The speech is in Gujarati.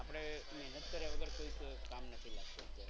આપણે મહેનત કર્યા વગર કોઈ કામ નથી મળતું અત્યારે.